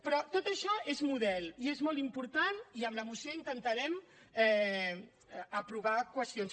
però tot això és model i és molt important i amb la moció intentarem aprovar qüestions